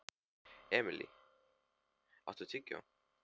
Emilý, áttu tyggjó?